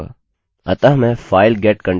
अतः मैंfile_get_contents टाइप करूँगा